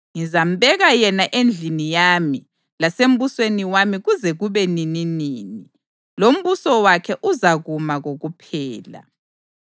Ngizambeka yena endlini yami lasembusweni wami kuze kube nininini, lombuso wakhe uzakuma kokuphela.’ ”